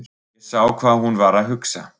Ég sá hvað hún var að hugsa.